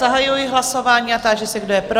Zahajuji hlasování a táži se, kdo je pro?